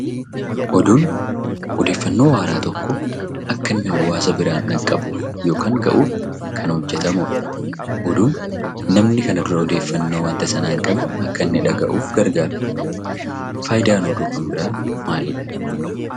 Oduun odeeffannoo haaraa tokko akka inni hawaasa biraan dhaqqabuuf yookaan gahuuf kan hojjetamudha. Oduun namni kana dura odeeffannoo waanta sanaa hin qabne akka inni dhaga'uuf gargaara. Faayidaan oduu kan biraa maalidha?